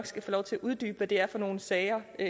skal få lov til at uddybe hvad det er for nogle sager men